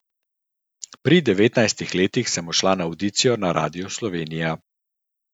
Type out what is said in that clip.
Pri devetnajstih letih sem šla na avdicijo na Radio Slovenija.